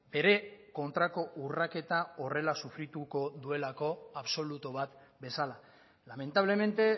ere kontrako urraketa horrela sufrituko duelako absolutu bat bezala lamentablemente